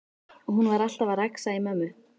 Hún var alltaf að rexa í mömmu.